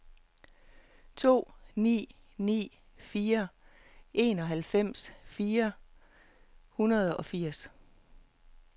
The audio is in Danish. to ni ni fire enoghalvfems fire hundrede og firs